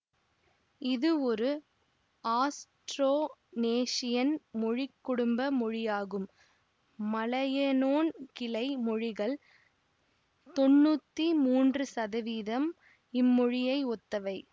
இது ஒரு ஆஸ்ட்ரோனேஷியன் மொழிக்குடும்ப மொழியாகும் மலயனொன் கிளை மொழிகள் தொன்னூத்தி மூன்று இம்மொழியை ஒத்தவை